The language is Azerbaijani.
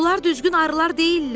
Bunlar düzgün arılar deyillər.